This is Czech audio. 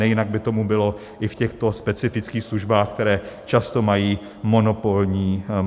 Nejinak by tomu bylo i v těchto specifických službách, které často mají monopolní charakter.